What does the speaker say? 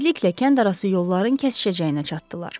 Tezliklə kəndarası yolların kəsişəcəyinə çatdılar.